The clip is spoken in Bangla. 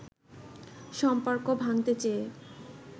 সম্পর্ক ভাঙতে চেয়ে